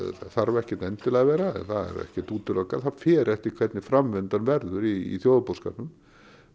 þarf ekkert endilega að vera það er ekkert útilokað það fer eftir því hvernig framvindan verður í þjóðarbúskapnum